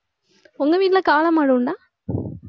உங்க வீட்ல காளை மாடு உண்டா